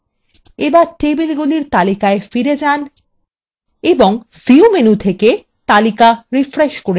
এবার টেবিলগুলির তালিকায় ফিরে যান এবং view menu থেকে তালিকা refresh করে নিন